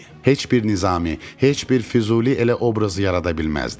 Heç bir Nizami, heç bir Füzuli elə obraz yarada bilməzdi.